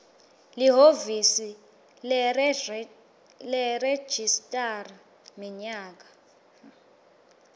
lihhovisi leregistrar minyaka